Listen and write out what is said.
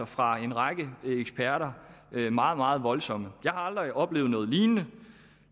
fra en række eksperter er altså meget meget voldsomme jeg har aldrig oplevet noget lignende